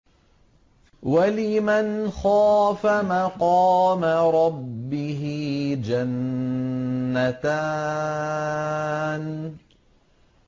وَلِمَنْ خَافَ مَقَامَ رَبِّهِ جَنَّتَانِ